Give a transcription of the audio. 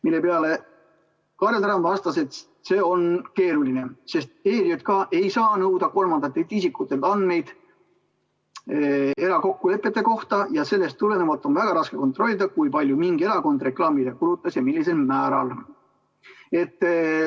Selle peale Kaarel Tarand vastas, et see on keeruline, sest ERJK ei saa nõuda kolmandatelt isikutelt andmeid erakokkulepete kohta ja sellest tulenevalt on väga raske kontrollida, kui palju mingi erakond reklaamile kulutas ja millisel määral.